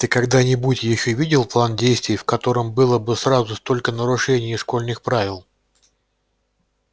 ты когда-нибудь ещё видел план действий в котором было бы сразу столько нарушений школьних правил